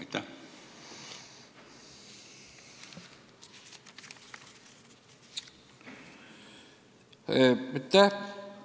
Aitäh!